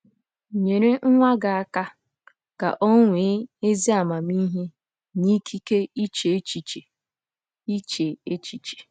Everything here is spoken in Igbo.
Nyere nwa gị aka ka o nwee “ ezi amamihe na ikike iche echiche. iche echiche. ”